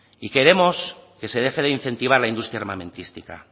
y queremos que se deje de incentivar la industria armamentística